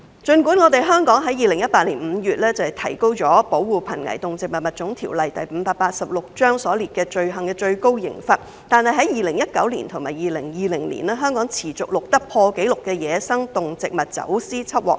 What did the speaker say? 儘管香港於2018年5月提高了《保護瀕危動植物物種條例》所列罪行的最高刑罰，但在2019年和2020年，香港持續錄得破紀錄的野生動植物走私緝獲量。